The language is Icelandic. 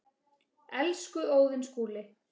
Elsku Óðinn Skúli.